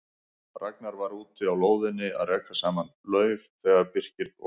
Ragnar var úti á lóðinni að raka saman laufi þegar Birkir og